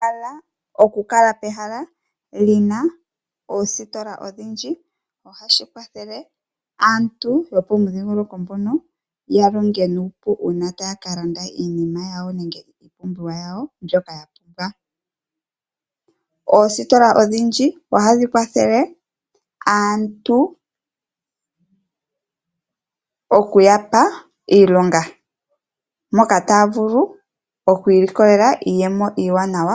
Okukala pehala lina oositola odhindji oha shi kwathele aantu yo po mudhiingoloko mbono yalonge nuupu uuna taya kalanda iinima yawo nenge iipumbiwa yawo mbyoka ya pumbwa. Oositola odhindji oha dhi kwathele aantu oku yapa iilonga, moka ta ya vulu oku ilikolela iiyemo iiwanawa.